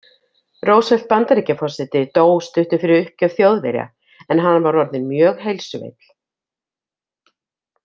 Roosevelt Bandaríkjaforseti dó stuttu fyrir uppgjöf Þjóðverja, en hann var orðinn mjög heilsuveill.